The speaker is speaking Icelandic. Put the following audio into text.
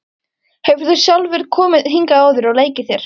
Hefur þú sjálfur komið hingað áður og leikið þér?